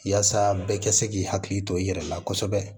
Yaasa bɛɛ ka se k'i hakili to i yɛrɛ la kosɛbɛ